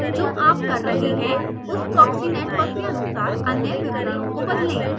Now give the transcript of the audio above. जो आप कर रहे हैं उस proxy network के अनुसार अन्य विवरणों को बदलें